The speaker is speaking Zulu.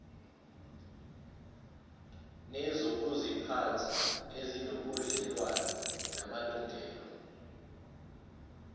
nezokuziphatha ezinobudlelwano namalungelo